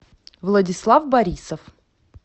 владислав борисов